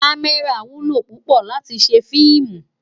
Kàmèrá wúlò púpò láti sé filmú